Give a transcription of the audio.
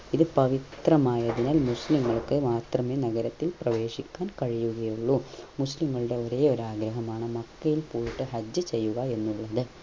ഇത് പവിത്രമായതിനാൽ മുസ്ലികൾക് മാത്രേ നഗരത്തിൽ പ്രവേശിക്കാൻ കഴിയുകയുള്ളു മുസ്ലിങ്ങളുടെ ഒരേയൊരു ആഗ്രഹമാണ് മക്കയിൽ പോയിട്ട് ഹജ്ജ് ചെയ്യുക എന്നുള്ളത്